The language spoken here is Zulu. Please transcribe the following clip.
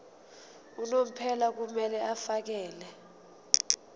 unomphela kumele afakele